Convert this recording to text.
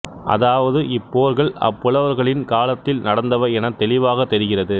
அதாவது இப்போர்கள் அப்புலவர்களின் காலத்தில் நடந்தவை எனத் தெளிவாகத் தெரிகிறது